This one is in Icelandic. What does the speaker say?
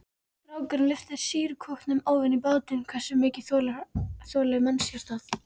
Strákurinn lyftir sýrukútnum ofan í bátinn, hversu mikið þolir mannshjartað?